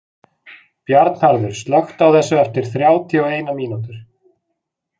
Bjarnharður, slökktu á þessu eftir þrjátíu og eina mínútur.